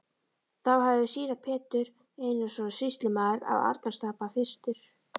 Þá hafði síra Pétur Einarsson sýslumaður á Arnarstapa fyrstur